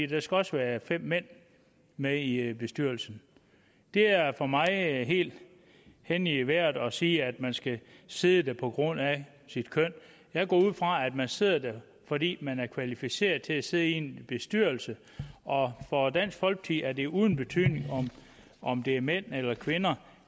der skal også være fem mænd med i i bestyrelsen det er for mig helt hen i vejret at sige at man skal sidde der på grund af sit køn jeg går ud fra at man sidder der fordi man er kvalificeret til at sidde i en bestyrelse og for dansk folkeparti er det uden betydning om det er mænd eller kvinder